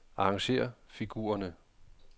Arrangér figurerne.